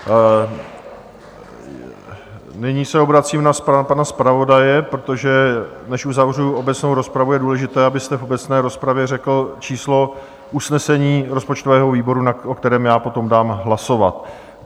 Nyní se obracím na pana zpravodaje, protože než uzavřu obecnou rozpravu, je důležité, abyste v obecné rozpravě řekl číslo usnesení rozpočtového výboru, o kterém já dám potom hlasovat.